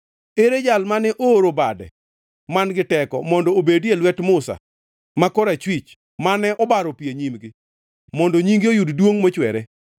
Ere Jal mane ooro bade man-gi teko mondo obedie lwet Musa ma korachwich, mane obaro pi e nyimgi mondo nyinge oyud duongʼ mochwere?